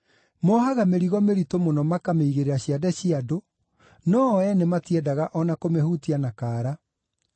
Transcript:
Mohaga mĩrigo mĩritũ mũno makamĩigĩrĩra ciande cia andũ, no-o ene matiendaga o na kũmĩhutia na kaara.